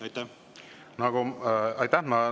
Aitäh!